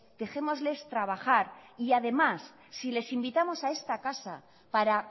dejémosles trabajar y además si les invitamos a esta casa para